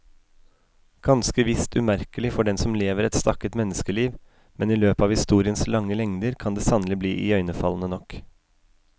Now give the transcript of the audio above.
Ganske visst umerkelig for den som lever et stakket menneskeliv, men i løpet av historiens lange lengder kan det sannelig bli iøynefallende nok.